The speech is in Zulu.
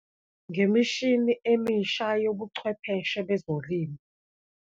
Ngemishini emisha yobuchwepheshe bezolimo.